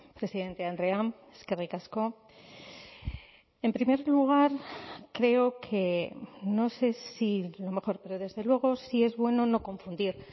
presidente andrea eskerrik asko en primer lugar creo que no sé si lo mejor pero desde luego si es bueno no confundir